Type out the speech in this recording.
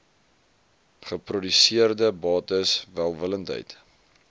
geproduseerde bates welwillendheid